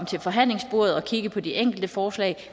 til forhandlingsbordet og kigge på de enkelte forslag